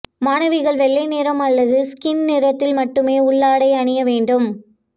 மாணவிகள் வெள்ளை நிறம் அல்லது ஸ்கின் நிறத்தில் மட்டுமே உள்ளாடை அணிய வேண்டும்